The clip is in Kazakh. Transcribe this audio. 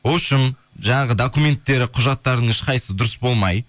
вообщем жаңағы документтері құжаттарының ешқайсысы дұрыс болмай